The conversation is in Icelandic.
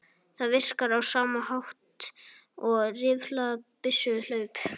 Það virkar á sama hátt og rifflað byssuhlaup.